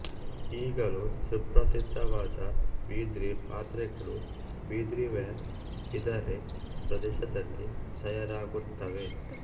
ಈಗಲೂ ಸುಪ್ರಸಿದ್ಧವಾದ ಬಿದ್ರಿ ಪಾತ್ರೆಗಳು ಬಿದ್ರಿವೇರ್ ಬಿದರೆ ಪ್ರದೇಶದಲ್ಲಿ ತಯಾರಾಗುತ್ತವೆ